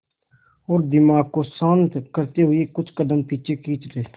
और दिमाग को शांत करते हुए कुछ कदम पीछे खींच लें